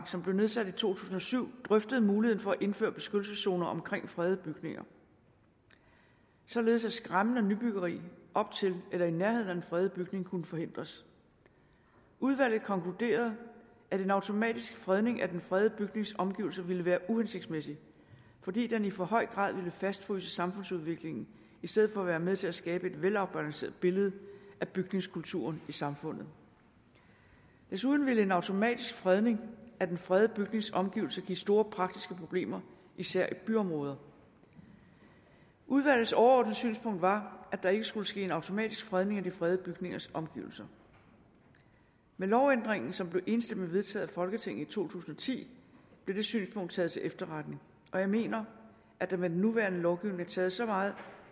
som blev nedsat i to tusind og syv drøftede muligheden for at indføre beskyttelseszoner omkring fredede bygninger således at skæmmende nybyggeri op til eller i nærheden af den fredede bygning kunne forhindres udvalget konkluderede at en automatisk fredning af den fredede bygnings omgivelser ville være uhensigtsmæssigt fordi den i for høj grad ville fastfryse samfundsudviklingen i stedet for at være med til at skabe et velafbalanceret billede af bygningskulturen i samfundet desuden ville en automatisk fredning af den fredede bygnings omgivelser give store praktiske problemer især i byområder udvalgets overordnede synspunkt var at der ikke skulle ske en automatisk fredning af de fredede bygningers omgivelser med lovændringen som blev enstemmigt vedtaget af folketinget i to tusind og ti blev det synspunkt taget til efterretning og jeg mener at der med den nuværende lovgivning er taget så meget